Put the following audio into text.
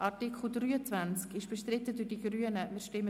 Artikel 32 wird seitens der Grünen bestritten;